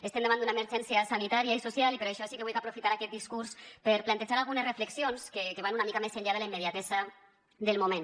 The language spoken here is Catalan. estem davant d’una emergència sanitària i social i per això sí que vull aprofitar aquest discurs per plantejar algunes reflexions que van una mica més enllà de la immediatesa del moment